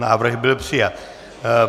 Návrh byl přijat.